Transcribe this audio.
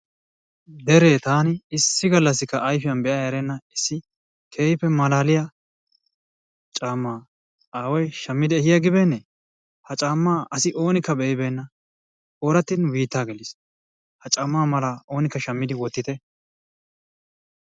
Deree taani issi gallassikka ayifiyan be erenna issi keehippe malaaliya caammaa aaway shammidi ehi agibeene! Ha caammaa asi oonikka be"ibeenna. Ooratti nu biittaa geliis. Ha caammaa malaa oonikka shammidi wottite.